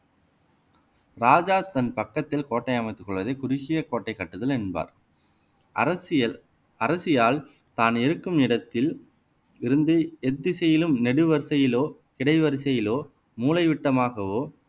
ராஜா தன் பக்கத்தில் கோட்டை அமைத்துக் கொள்வதை குறுகிய கோட்டை கட்டுதல் என்பார் அரசியல் அரசியால் தான் இருக்கும் இடத்தில் இருந்தே எத்திசையிலும் நெடுவரிசையிலோ கிடை வரிசையிலோ மூலைவிட்டமாகவோ